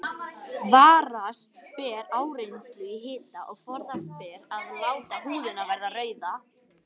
Varast ber áreynslu í hita og forðast ber að láta húðina verða rauða.